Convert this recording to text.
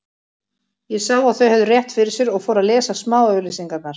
Ég sá að þau höfðu rétt fyrir sér og fór að lesa smáauglýsingarnar.